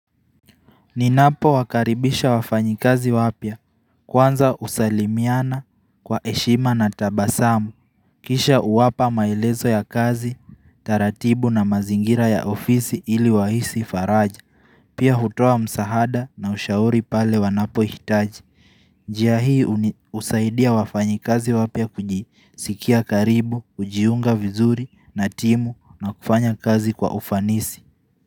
Ninapo wakaribisha wafanyi kazi wapya kwanza usalimiana kwa eshima na tabasamu Kisha uwapa maelezo ya kazi, taratibu na mazingira ya ofisi ili wahisi faraja Pia hutoa msahada na ushauri pale wanapo hitaji Jia hii usaidia wafanyi kazi wapya kujisikia karibu, ujiunga vizuri, natimu na kufanya kazi kwa ufanisi.